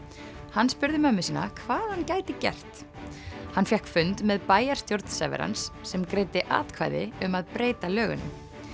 hann spurði móður sína hvað hann gæti gert hann fékk fund með bæjarstjórn sem greiddi atkvæði um að breyta lögunum